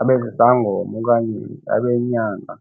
abe sisangoma okanye abe yinyanga.